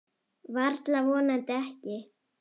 Varla og vonandi ekki.